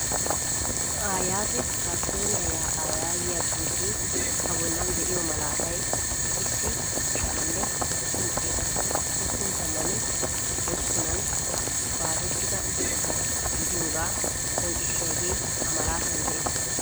Ayate akisiyonee ya'aa yaagiyaa xuufe a bollan de'iyo malatay issi sha'anne udufun xeettane hosppun tammane hosppunan baasettida eqqota gidiyoga qonccisiyage ha malatan de'ees.